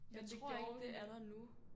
Jeg tror ikke hun er der nu